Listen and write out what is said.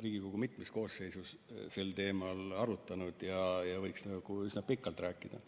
Riigikogu mitmes koosseisus sel teemal arutlenud ja võiks üsna pikalt rääkida.